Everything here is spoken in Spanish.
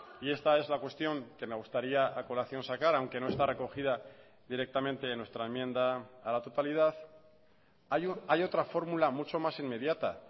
y esta es la cuestión que me gustaría a colación sacar aunque no está recogida directamente en nuestra enmienda a la totalidad hay otra fórmula mucho más inmediata